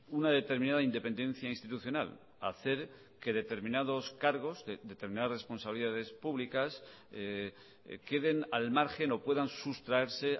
una determinada independencia institucional hacer que determinados cargos de determinadas responsabilidades públicas queden al margen o puedan sustraerse